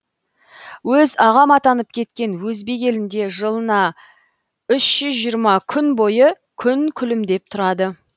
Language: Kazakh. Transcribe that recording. өз ағам атанып кеткен өзбек елінде жылына үш жүз жиырма күн бойы күн күлімдеп тұрады